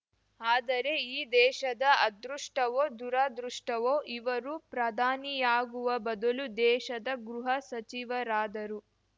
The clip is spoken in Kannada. ಆದರೆ ಈ ದೇಶದ ಅದೃಷ್ಟವೋ ದುರಾದೃಷ್ಟವೋ ಇವರು ಪ್ರಧಾನಿಯಾಗುವ ಬದಲು ದೇಶದ ಗೃಹ ಸಚಿವರಾದರು